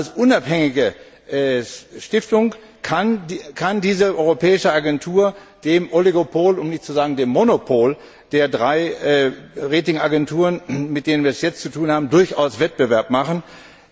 Als unabhängige Stiftung kann diese europäische Agentur dem Oligopol um nicht zu sagen dem Monopol der drei Rating Agenturen, mit denen wir es jetzt zu tun haben, durchaus Konkurrenz machen.